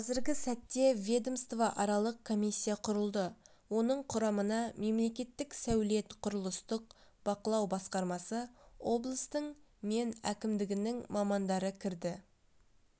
қазіргі сәтте ведомствоаралық комиссия құрылды оның құрамына мемлекеттік сәулет-құрылыстық бақылау басқармасы облыстың мен әкімдігінің мамандары кірді